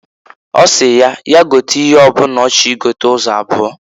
Osi ya, ya gote ihe ọ bụna ọ chọrọ i gota ụzọ abụọ.